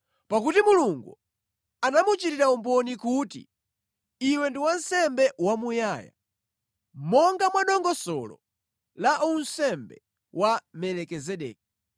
Pakuti Mulungu anamuchitira umboni kuti, “Iwe ndi wansembe wamuyaya, monga mwa dongosolo la unsembe wa Melikizedeki.”